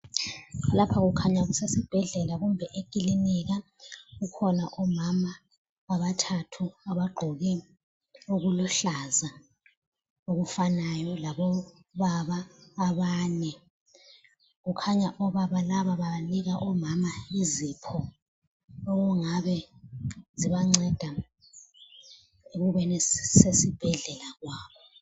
Lapha kukhanya kusesibhedlela kumbe ekilinika. Kukhona omama abathathu abagqoke okuluhlaza okufanayo labobaba abane. Kukhanya obaba laba banika omama izipho okungabe zibanceda ekubeni sesibhedlela kwabo.